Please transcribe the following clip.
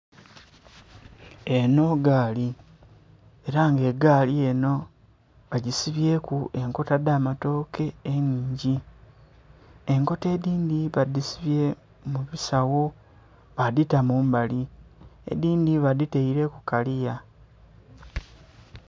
Enho gaali ela nga egaali enho bagisibyeku enkota dh'amatooke ennhingi. Enkota edhindhi badhisibye mu bisagho, badhita mu mbali. Edhindhi badhitaile ku kaliya.